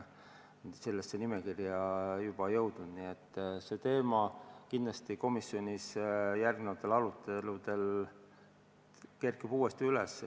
See teema kerkib kindlasti komisjonis järgmistel aruteludel uuesti üles.